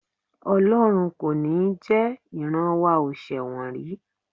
Ọlọ́run kò ní jẹ, ìran wa ò ṣẹ̀wọ̀n rí